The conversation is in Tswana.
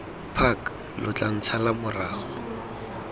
park lo tla ntshala morago